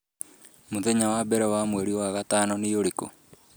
Mũthenya wa mbere wa Mweri wa gatano nĩ ũrĩkũ?